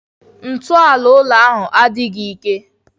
Ntọala ụlọ ahu adịghị ike.